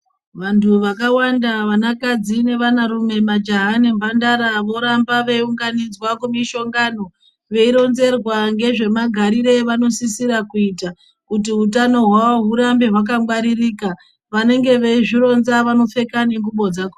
Vantu vakawanda vanakadzi nevanarume majaha nemhandara voramba veiungnidzwa kumishonano. Veironzerwa ngezvemagarire evanosisire kuita. Kuti utano hwavo hurambe hwakangwaririka. Vanenge veizvironza vanopfeka nengubo dzakho.